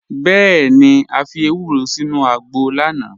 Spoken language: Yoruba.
Bẹẹni, à fi èwúrò sínu àgbọ̀ lánà.